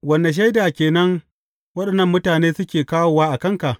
Wane shaida ke nan waɗannan mutane suke kawowa a kanka?